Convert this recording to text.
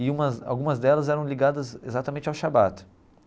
E umas algumas delas eram ligadas exatamente ao shabbat.